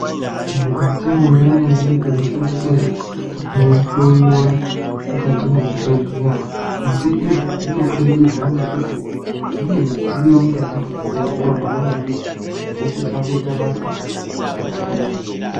Mukati mwendaramo yedu tinosise kunge teinhloyiwa mukati mwezvibhehleya asi izvi zvinobudikidza ngekuti mune midziyo mukati mwechibhehleya mwona imwomwo inosise kuita basa rakadai.